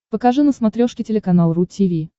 покажи на смотрешке телеканал ру ти ви